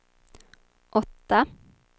åtta